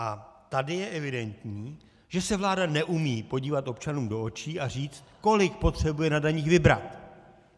A tady je evidentní, že se vláda neumí podívat občanům do očí a říct, kolik potřebuje na daních vybrat.